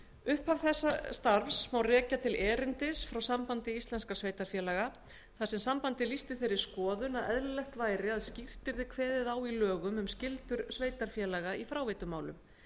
upphaf þess starfs má rekja til erindis frá sambandi íslenskra sveitarfélaga þar sem sambandið lýsti þeirri skoðun að eðlilegt væri að skýrt yrði kveðið á í lögum um skyldur sveitarfélaga í fráveitumálum